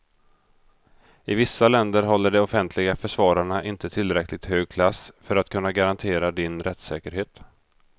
I vissa länder håller de offentliga försvararna inte tillräckligt hög klass för att kunna garantera din rättssäkerhet.